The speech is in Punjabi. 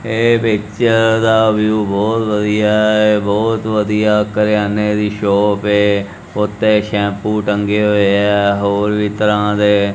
ਇਹ ਪਿਚਰ ਦਾ ਵਿਊ ਬਹੁਤ ਵਧੀਆ ਐ ਬਹੁਤ ਵਧੀਆ ਕਰਿਆਨੇ ਦੀ ਸ਼ੋਪ ਐ ਉੱਤੇ ਸ਼ੈਮਪੂ ਟੰਗੇ ਹੋਏ ਐ ਹੋਰ ਵੀ ਤਰਾਂ ਦੇ।